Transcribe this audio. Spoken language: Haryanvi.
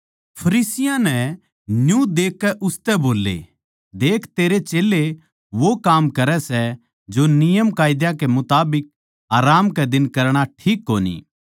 फरीसियाँ नै न्यू देखकै उसतै बोल्ले देख तेरे चेल्लें वो काम करै सै जो नियमकायदा के मुताबिक आराम कै दिन करणा ठीक कोनी